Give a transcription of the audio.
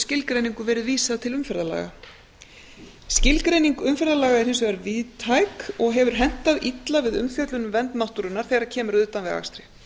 skilgreiningu verið vísað til umferðarlaga skilgreining umferðarlaga er hins vegar víðtæk og hefur hentað illa við umfjöllun um vernd náttúrunnar þegar kemur að utanvegaakstri